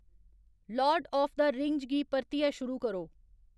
Lord of the Rings गी परतियै शुरू करो